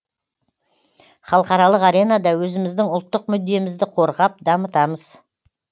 халықаралық аренада өзіміздің ұлттық мүддемізді қорғап дамытамыз